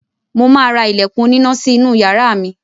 Mo ma ra ilẹ̀kùn oníná sí inú yàrá mi